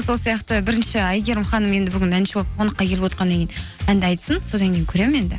сол сияқты бірінші әйгерім ханым енді бүгін әнші болып қонаққа келіп отырғаннан кейін әнді айтсын содан кейін көремін енді